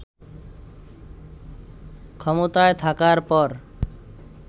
ক্ষমতায় থাকার পর